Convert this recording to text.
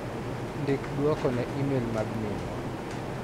Ndik duoko ne imel mag minwa.